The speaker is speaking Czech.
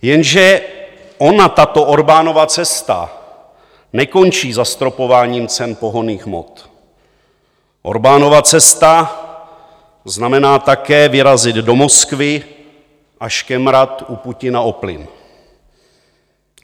Jenže ona tato Orbánova cesta nekončí zastropováním cen pohonných hmot, Orbánova cesta znamená také vyrazit do Moskvy a škemrat u Putina o plyn.